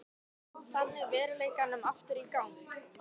Kom þannig veruleikanum aftur í gang.